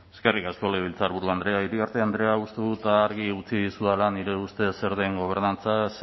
eskerrik asko legebiltzarburu andrea iriarte andrea uste dut argi utzi dizudala nire ustez zer den gobernantza ze